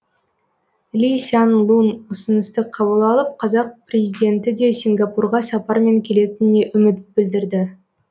ли сян лун ұсынысты қабыл алып қазақ президенті де сингапурға сапармен келетініне үміт білдірді